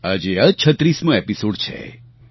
આજે આ 36 મો એપીસોડ છે